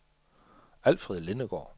Alfred Lindegaard